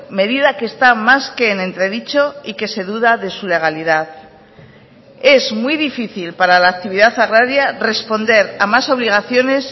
medida que está más que en entredicho y que se duda de su legalidad es muy difícil para la actividad agraria responder a más obligaciones